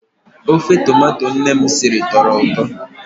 Ofe tomato nne m siri tọrọ ụtọ.